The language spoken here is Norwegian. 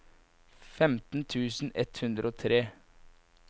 femten tusen ett hundre og tre